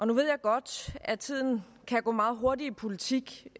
nu ved jeg godt at tiden kan gå meget hurtigt i politik